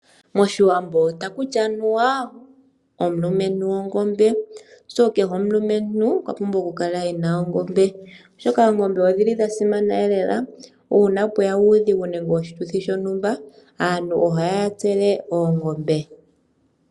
Moshiwambo ohakuti anuwa omulumentu ongombe, kehe omulumentu okwa pumbwa okukala ena ongombe, molwashoka ongombe odhili dhasimana lela uuna pweya uudhigu nenge oshituthi shontumba aantu ohayatsele oongombe.